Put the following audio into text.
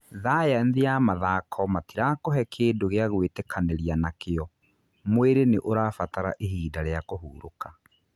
" Thayanthi ya mathako matirakũhe kĩndũ gĩa gũĩtĩkanĩria nakĩo, mwirĩ nĩ ũrabatara ihinda kũhũrũka.